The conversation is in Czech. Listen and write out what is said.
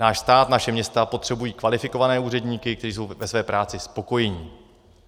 Náš stát, naše města potřebují kvalifikované úředníky, kteří jsou ve své práci spokojeni.